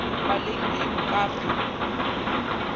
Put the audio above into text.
paleng ee o ka re